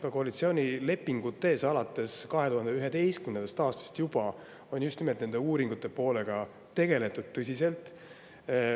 Ka koalitsioonilepingutes, alates juba 2011. aastast, on just nimelt nende uuringute poolega tõsiselt tegeletud.